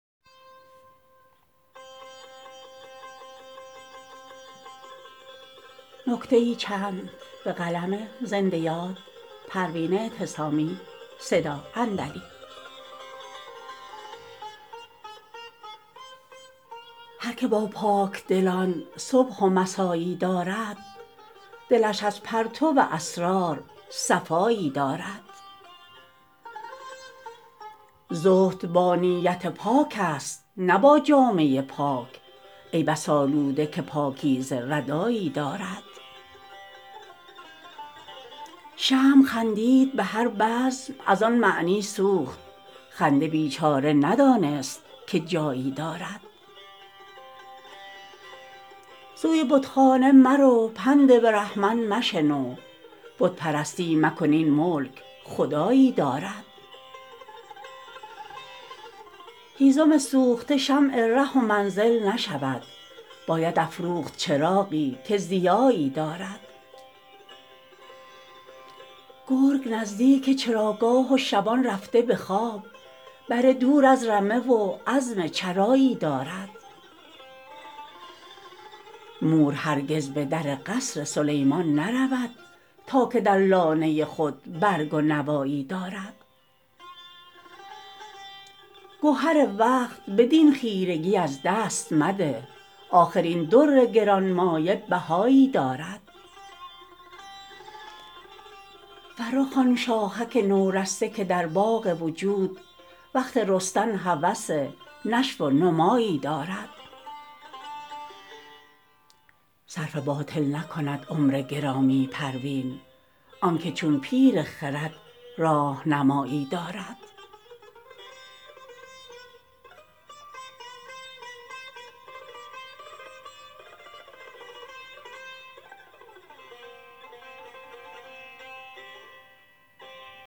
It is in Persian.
هر که با پاکدلان صبح و مسا یی دارد دلش از پرتو اسرار صفایی دارد زهد با نیت پاک است نه با جامه پاک ای بس آلوده که پاکیزه ردایی دارد شمع خندید به هر بزم از آن معنی سوخت خنده بیچاره ندانست که جایی دارد سوی بتخانه مرو پند برهمن مشنو بت پرستی مکن این ملک خدایی دارد هیزم سوخته شمع ره و منزل نشود باید افروخت چراغی که ضیایی دارد گرگ نزدیک چراگاه و شبان رفته به خواب بره دور از رمه و عزم چرایی دارد مور هرگز به در قصر سلیمان نرود تا که در لانه خود برگ و نوایی دارد گهر وقت بدین خیرگی از دست مده آخر این در گرانمایه بهایی دارد فرخ آن شاخک نورسته که در باغ وجود وقت رستن هوس نشو و نمایی دارد صرف باطل نکند عمر گرامی پروین آنکه چون پیر خرد راهنمایی دارد